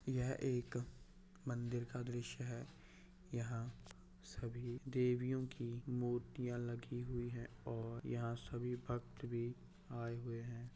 यह एक मंदिर का द्रश्य है यहाँ सभी देवियों की मूर्तियाँ लगी हुई और यहाँ सभी भक्त भी आये हुए है।